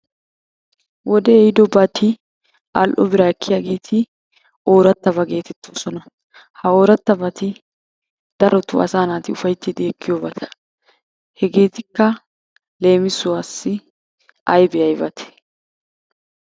Wodee ehiidobati al"o biraa ekkiyageeti oorattaba geetettoosona. Ha oorattabati darotoo asaa naati ufayttidi ekkiyobata. Hegeetikka leemisuwassi aybaa aybatee?